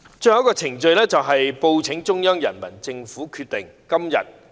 最後，報請中央人民政府決定。